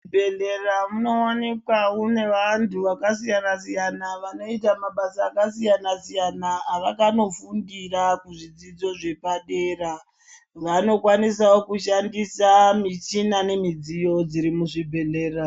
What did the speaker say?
Bhedhlera munowanikwa mune vantu vakasiyana siyana vanoita mabasa akasiyana siyana avakanofundira kuzvidzidzo zvepadera vanokwanisa kushandisa mishina nemidziyo dziri muzvibhedhlera